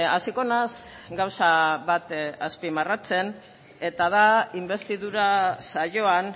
hasiko naiz gauza bat azpimarratzen eta da inbestidura saioan